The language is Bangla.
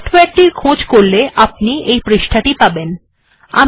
এই সফটওয়ারে টির খোঁজ করলে আপনি এই পৃষ্ঠা টি পাবেন